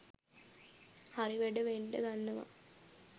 හරි වැඩ වෙන්ඩ ගන්නවා